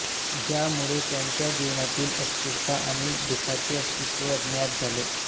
ज्यामुळे त्यांच्या जीवनातील अस्थिरता आणि दुखाचे अस्तित्व ज्ञात झाले